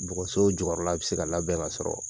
Bɔgɔso jokɔyɔrɔla bɛ se ka labɛn ka sɔrɔ.